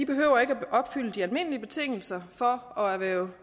behøver at opfylde de almindelige betingelser for at erhverve